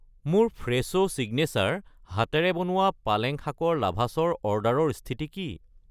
মোৰ Fresho signature হাতেৰে বনোৱা পালেং শাকৰ লাভাছ ৰ অৰ্ডাৰৰ স্থিতি কি?